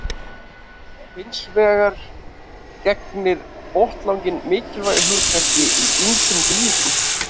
Hins vegar gegnir botnlanginn mikilvægu hlutverki í ýmsum dýrum.